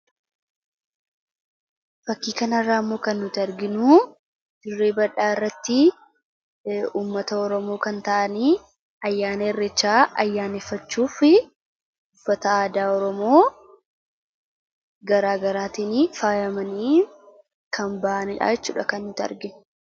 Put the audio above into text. fakkiikanarraamoo kan nuti arginu jirrie badhaa irratti ummata oramoo kan ta'anii ayyaana errichaa ayyaaniffachuufi uffata aadaa oramoo garaagaraatinii faayamanii kan ba'anilhaachuudha kan nuti argiu